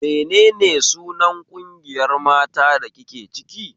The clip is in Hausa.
Menene sunan ƙungiyar mata da kike ciki?